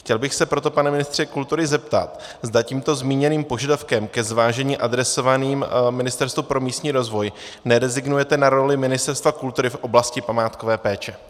Chtěl bych se proto, pane ministře kultury, zeptat, zda tímto zmíněným požadavkem ke zvážení adresovaným Ministerstvu pro místní rozvoj nerezignujete na roli Ministerstva kultury v oblasti památkové péče.